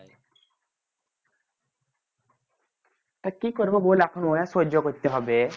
তা কি করবো বল এখন অনেক সহ্য করতে হবে।